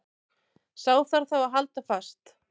Sá þarf þá að halda fast.